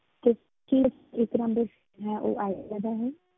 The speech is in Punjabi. ਕੀ ਕੀ ਇਹ ਇੱਕ number ਹੈ ਉਹ ਆਇਡੀਆ ਦਾ ਹੈ,